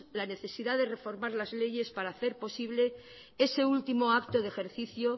la necesidad de reformar las leyes para hacer posible ese último acto de ejercicio